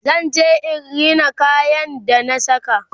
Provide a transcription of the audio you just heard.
zan je in Rina kayan ga da na saka